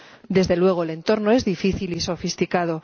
Desde luego, el entorno es difícil y sofisticado.